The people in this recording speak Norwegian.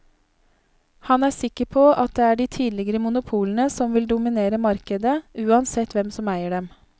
Han er sikker på at det er de tidligere monopolene som vil dominere markedet, uansett hvem som eier dem.